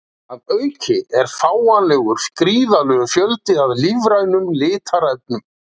að auki er fáanlegur gríðarlegur fjöldi af lífrænum litarefnum